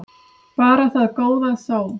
Bara það góða þó.